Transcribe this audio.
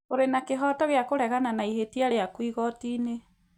ũrĩ na kĩhooto gĩa kũregana na ihĩtia rĩaku igoti-inĩ